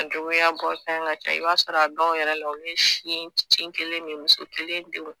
Juguya bɔfan ka ca i b'a sɔrɔ dɔw yɛrɛ la u ye sin kin kelen min muso kelen denw